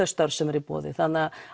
störf sem eru í boði þannig